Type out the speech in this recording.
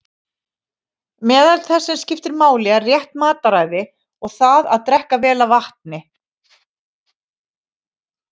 Meðal þess sem skiptir máli er rétt mataræði og það að drekka vel af vatni.